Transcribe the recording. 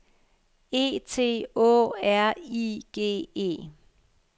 E T Å R I G E